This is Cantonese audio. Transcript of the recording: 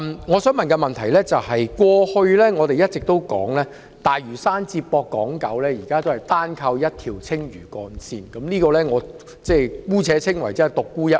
我們過去一直說，大嶼山接駁港島和九龍市區至今仍是單靠一條青嶼幹線，我姑且稱之為"獨沽一味"。